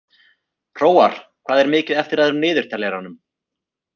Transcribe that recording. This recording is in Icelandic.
Hróar, hvað er mikið eftir af niðurteljaranum?